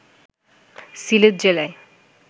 সিলেট জেলায়